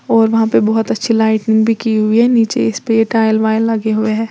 और वहां पे बहुत अच्छी लाइटिंग भी की हुई है नीचे इस पे टाइल वाइल लगे हुए हैं।